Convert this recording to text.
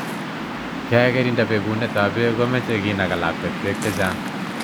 Kekirinda bekunetab beek komechey kinaga lakwet beek chechang